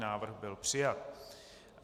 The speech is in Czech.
Návrh byl přijat.